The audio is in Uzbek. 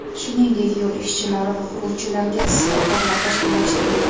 Shuningdek, yo‘l ishchilari va quruvchilarga issiq ovqatlar tashkillashtirildi.